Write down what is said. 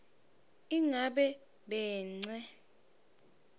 igabence